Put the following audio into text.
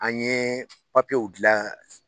An ye papiyew dilan